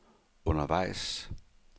undervejs